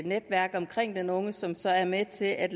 netværk omkring den unge som så er med til at